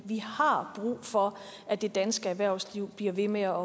vi har brug for at det danske erhvervsliv bliver ved med at